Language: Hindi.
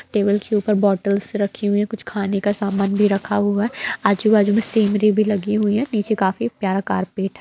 टेबल के ऊपर बॉटल्स रखी हुई हैं कुछ खाने का समान भी रखा हुआ है आजु-बाजु में सीनरी भी लगी हुई है नीचे काफी प्यारा कारपेट --